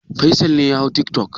Faisal ne ya hau tiktok?